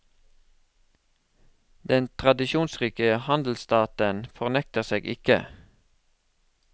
Den tradisjonsrike handelsstaten fornekter seg ikke.